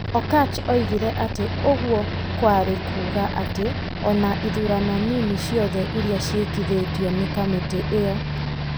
Okatch oigire atĩ ũguo kwarĩ kuuga atĩ o na ithurano nini ciothe iria ciĩkithetio nĩ kamĩtĩ ĩyo ,